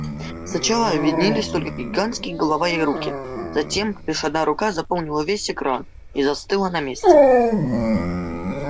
сначала виднелись только гигантские голова и руки затем лишь одна рука заполнила весь экран и застыла на месте